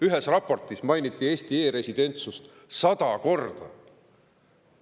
Ühes raportis mainiti Eesti e‑residentsust sada korda.